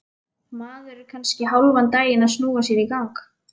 Maður er kannski hálfan daginn að snúa sér í gang.